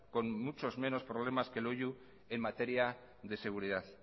con muchos menos problemas que loiu en materia de seguridad